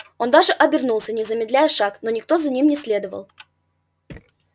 он даже обернулся не замедляя шаг но никто за ним не следовал